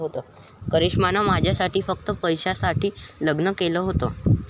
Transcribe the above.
'करिष्मानं माझ्याशी फक्त पैशासाठी लग्न केलं होतं'